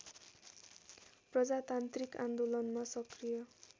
प्रजातान्त्रिक आन्दोलनमा सक्रिय